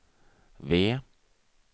V